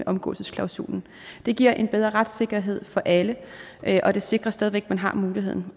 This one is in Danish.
omgåelsesklausulen det giver en bedre retssikkerhed for alle og det sikrer stadig væk at man har muligheden